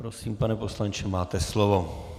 Prosím, pane poslanče, máte slovo.